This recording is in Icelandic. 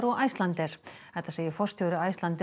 og Icelandair þetta segir forstjóri Icelandair